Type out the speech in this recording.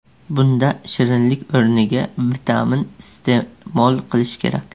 Bunda shirinlik o‘rniga vitamin iste’mol qilish kerak.